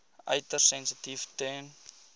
uiters sensitief ten